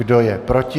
Kdo je proti?